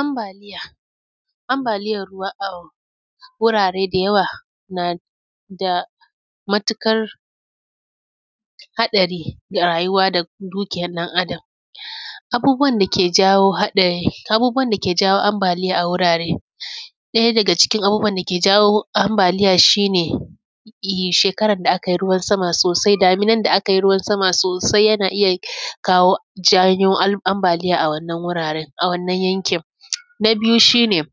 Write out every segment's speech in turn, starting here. Ambaliya. Ambaliyan a wurare da yawa na da matukar haɗari a rayuwa da dukiyan ɗan Adam. Abubuwan da ke jawo haɗa am; abubuwan da ke jawo ambaliya a wurare, ɗaya daga cikin abubuwan da ke jawo ambaliya shi ne, yi; shekarad da akai ruwan sama sosai, daminan na akai ruwan sama sosai, yana iya kawo, janyo am; ambaliyan a wannan yankin. Na biyu shi ne,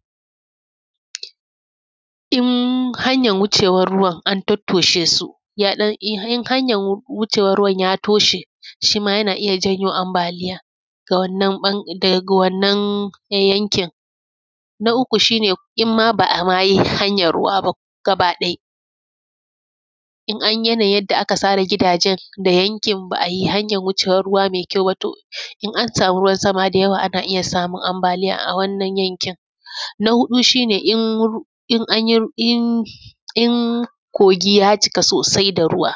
in hanyan wucewan ruwan, an tattoshe su, ya ɗan, in han; hanyan wu; wucewan ruwan ya toshe, shi ma yana iya janyo ambaliya da wannan ƃan; daga wannan yankin. Na uku shi ne, im ma ba a ma yi hanyan ruwa ba gabaɗai, in anyi, yanayin yanda aka tsara gidajen da yankin ba a yi hanyan wucewan ruiwa me kyau ba, to, in an samu ruwan sama da yawa, ana iya samun ambaliya a wannan yankin. Na huɗu shi ne, in ru; in an yi ru; in; in kogi ya cika sosai da ruwa,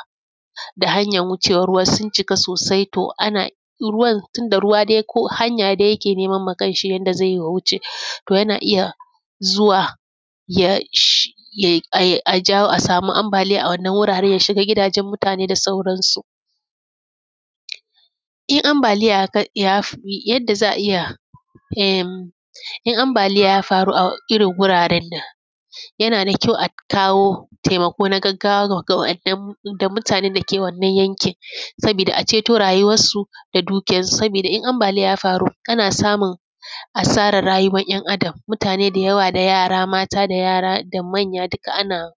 da hanyan wucewan ruwa sun cika sosai, to, ana, ruwan, tun da ruwa dai ko hanya dai yake neman ma kanshi yanda zai yi ya wuce. To, yana iya zuwa y ash; yai ai, a jawo a samu ambaliya a wannan wuraren, ya shiga gidajen mutane da sauransu. In ambaliya ya kai; ya fi, yadda za a iya, en, in ambaliya ya faru a irin wuraren nan, yana da kyau a kawo temako na gaggawa ga; ga wa’yannan da mutanen dake wannan yankin sabida a ceto rayuwassu da dukiyansu. Sabida in ambaliya ya faru, ana samun asarar rayuwan ‘yan Adam. Mutane da yawa da yara mata da yara da manya dika ana,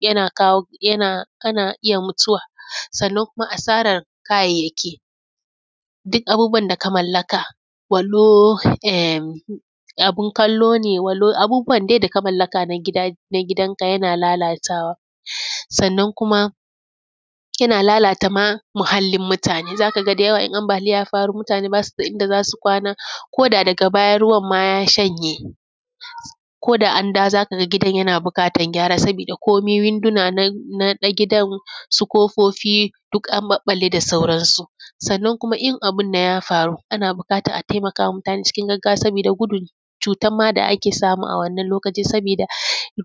yana kawo, yana, ana iya mutuwa, sannan kuma asarar kayayyaki, dik abubuwan da ka mallaka, walau em, abin kallo ne, walau abubuwan de da ka mallaka na gida, na gidanka yana lalatawa. Sannan kuma, yana lalata ma mahallin mutane. Za ka ga da yawa in ambaliya ya faru, mutane ba su da inda za su kwana koda daga baya ruwan ma ya shanye, ko da an dawo, za ka ga gidan yana biƙatan gyara, sabida komi winduna na; na gidan su kofofi, duk an ƃaƃƃalle da sauransu. Sannan kuma, in abin nan ya faru, ana biƙatan a temaka wa mutane cikin gaggawa, sabida gudun cutan ma da ake samu a wannan lokacin, sabida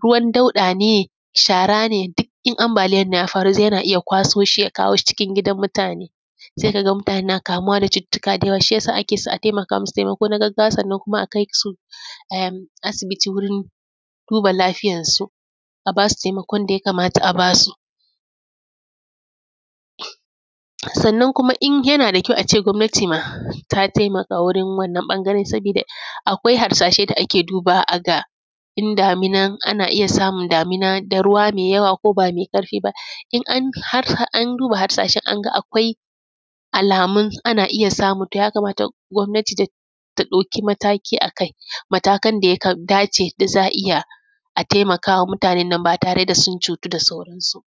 ruwan dauɗa ne, shara ne, din in ambaliyan nan ya faru za; yana iya kwaso shi ya kawo shi cikin gidan mutane. Se ka ga mutane na kamuwa na cututtuka da yawa. Shi ya sa ake so a temaka musu, temako na gaggawa. Sannan kuma, a kais u em; asibiti wurin duba lafiyansu, a ba su temakon da ya kamata a ba su. Sannan kuma, in, yana da kyau a ce gwamnati ma ta temaka wurin wannan ƃangaren, sabida akwai harsashe da ake dubawa a ga in daminan, ana iya samin damina da ruwa me yawa ko ba me ƙarfi ba. In an harha an duba harsashen an ga akwai alamun ana iya samu, to, ya kamata gwamnati ta; ta ɗauki mataki a kai, matakan da ya ka; dace da za a iya a temaka wa mutanan nan ba tare da sun cutu da sauransu ba.